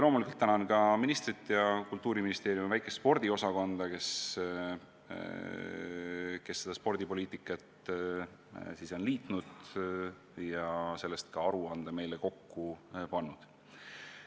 Loomulikult ma tänan ka ministrit ja Kultuuriministeeriumi väikest spordiosakonda, kes spordipoliitikat on kujundanud ja sellest ka aruande meile kokku pannud.